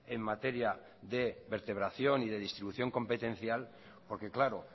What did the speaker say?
en materia de vertebración y distribución competencial porque claro